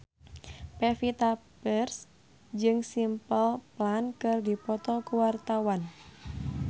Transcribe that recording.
Pevita Pearce jeung Simple Plan keur dipoto ku wartawan